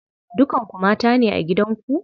Dukan ku mata ne a gidan ku?